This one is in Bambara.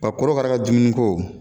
korokara ka dumuni ko